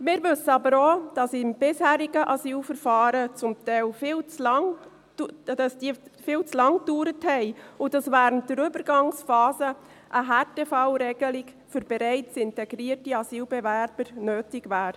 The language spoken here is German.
Wir wissen aber auch, dass die bisherigen Asylverfahren zum Teil viel zu lange dauerten und dass während der Übergangsphase eine Härtefallregelung für bereits integrierte Asylbewerber nötig wäre.